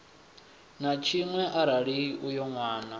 na tshiṅwe arali uyo nwana